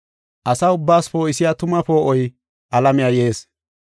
Asa ubbaas poo7isiya tuma poo7oy alamiya yees.